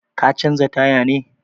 Ka canza taya ne?